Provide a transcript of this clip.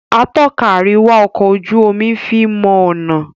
Atọ́ka àríwá ọkọ ojú omí fín mọ ọnà.